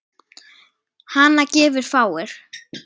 Hana gefa fáir.